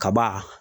Kaba